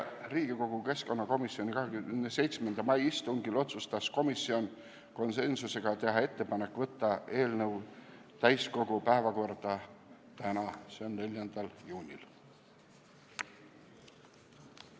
Riigikogu keskkonnakomisjoni 27. mai istungil otsustas komisjon konsensuslikult, et tehakse ettepanek saata eelnõu täiskogu päevakorda tänaseks, s.o 4. juuniks.